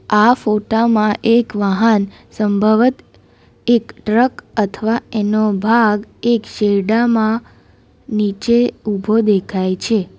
આ ફોટા માં એક વાહન સંભવત એક ટ્રક અથવા એનો ભાગ એક શેઢામાં નીચે ઉભો દેખાય છે.